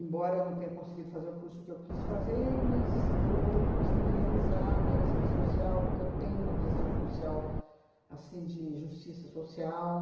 Embora eu não tenha conseguido fazer o curso que eu quis fazer, eu mis eu consegui me realizar, né, em serviço social, porque eu tenho uma visão social assim de justiça social.